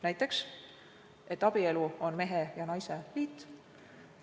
Näiteks, et abielu on mehe ja naise liit.